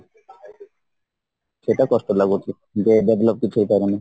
ସେଇଟା କଷ୍ଟ ଲାଗୁଚି ଯେ develop କିଛି ହେଇପାରୁନି